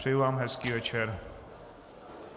Přeju vám hezký večer.